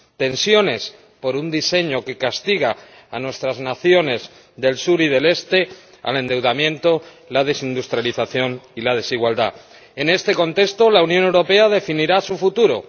Tensiones por un diseño que castiga a nuestras naciones del sur y del este al endeudamiento, la desindustrialización y la desigualdad. En este contexto, la Unión Europea definirá su futuro.